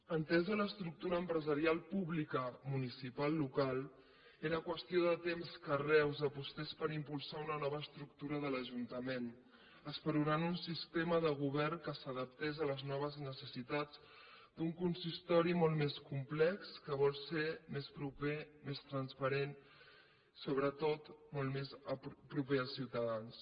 entesa l’estructura empresarial pública municipal local era qüestió de temps que reus apostés per impulsar una nova estructura de l’ajuntament esperonant un sistema de govern que s’adaptés a les noves necessitats d’un consistori molt més complex que vol ser més proper més transparent sobretot molt més proper als ciutadans